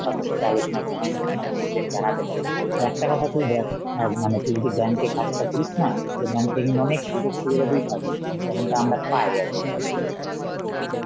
কাকুর সাথে আলোচনা করে আমার উম মানে decision জানাতে পারিস, আর একটা কথা তুই দেখ অ্যাঁ মানে তুই যদি bank এ কাজটা করিস না, তোকে bank থেকে অনেক সুযোগ-সুবিধা কি পাবি, মানে যেমনটা আমরা পাই আরকি.